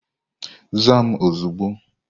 Zaa m ozugbo